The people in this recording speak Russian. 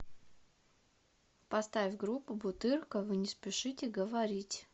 поставь группу бутырка вы не спешите говорить